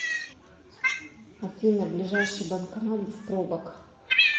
афина ближайший банкомат без пробок